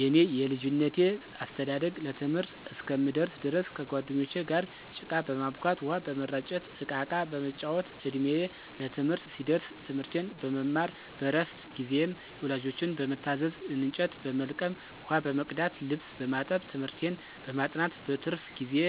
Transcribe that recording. የኔ የልጅነቴ አስተዳደግ ለትምህርት እስከምደርስ ድረስ ከጓደኞቸ ጋር ጭቃ በማቡካት፣ ውሃ በመራጨት፣ እቃቃ በመጫወት፣ እድሜየ ለትምህርት ሲደርስ ትምርቴን በመማር በረፍት ጊዜየም ወላጆቸን በመታዘዝ እንጨት በመልቀም፣ ውሃ በመቅዳት፣ ልብስ በማጠብ፣ ትምህርቴን በማጥናት፣ በትርፍ ጊዜየ